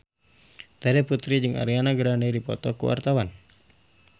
Terry Putri jeung Ariana Grande keur dipoto ku wartawan